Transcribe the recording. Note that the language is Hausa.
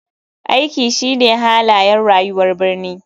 Aiki shine halayen rayuwar birni.